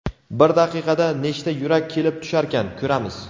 bir daqiqada nechta yurak kelib tusharkan, ko‘ramiz.